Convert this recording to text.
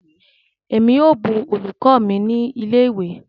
Emi o bù olùkọ́ mi ni ilé ìwé.